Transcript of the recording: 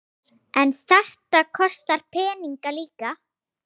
En þetta kostar peninga líka?